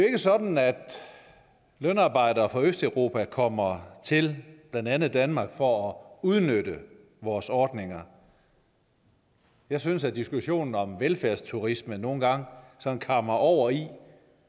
ikke sådan at lønarbejdere fra østeuropa kommer til blandt andet danmark for at udnytte vores ordninger jeg synes at diskussionen om velfærdsturisme nogle gange kammer over i